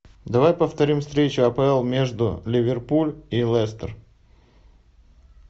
давай повторим встречу апл между ливерпуль и лестер